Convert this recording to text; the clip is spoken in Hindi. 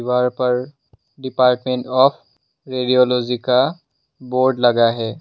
डिपार्मेंट ऑफ़ रेडियोलॉजि का बोर्ड लगा है।